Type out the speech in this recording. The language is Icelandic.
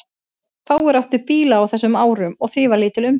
Fáir áttu bíla á þessum árum og því var lítil umferð.